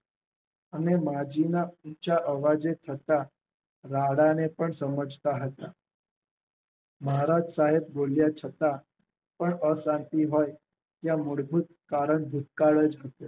અને માજીના ઉંચા અવાજે થતા રાડાને પણ સમજતા હતા. મહારાજ સાહેબ બોલ્યા છતાં પણ અશાંતિ હોય ત્યાં મૂળભત કારણ ભૂતકાળ જ